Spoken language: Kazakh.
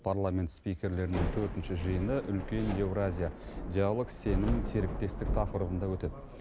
парламент спикерлерінің төртінші жиыны үлкен еуразия диалог сенім серіктестік тақырыбында өтеді